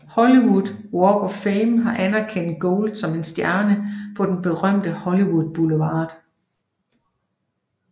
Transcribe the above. Hollywood Walk of Fame har anerkendt Gold med en stjerne på den berømte Hollywood Boulevard